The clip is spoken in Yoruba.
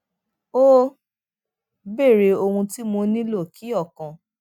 ó béèrè ohun tí mo nílò kí ọkàn